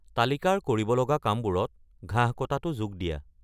তালিকাৰ কৰিবলগা কামবোৰত ঘাঁহ কটাটো যোগ দিয়া